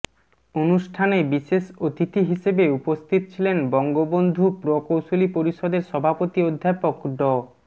অনুষ্ঠানে বিশেষ অতিথি হিসেবে উপস্থিত ছিলেন বঙ্গবন্ধু প্রকৌশলী পরিষদের সভাপতি অধ্যাপক ড